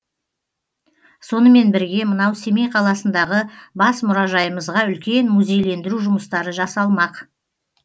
сонымен бірге мынау семей қаласындағы бас мұражайымызға үлкен музейлендіру жұмыстары жасалмақ